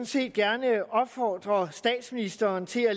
set gerne opfordre statsministeren til at